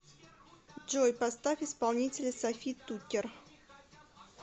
джой поставь исполнителя софи туккер